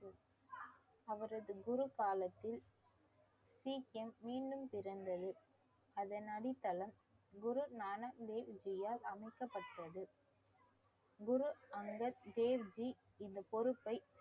அவரது குரு காலத்தில் சீக்கிரம் மீண்டும் பிறந்தது அதன் அடித்தளம் குருநானக் தேவ்ஜியால் அமைக்கப்பட்டது குரு அங்கர் தேவ்ஜி இந்த பொறுப்பை